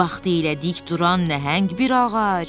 Vaxtilə dik duran nəhəng bir ağac!